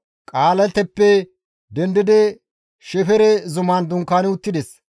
Qahalaateppe dendidi Shefere zuman dunkaani uttides.